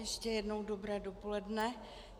Ještě jednou dobré dopoledne.